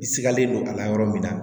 I sigalen don a la yɔrɔ min na